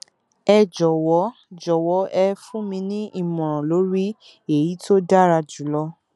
ẹ jọwọ jọwọ ẹ fún mi ní ìmọràn lórí èyí tó dára jùlọ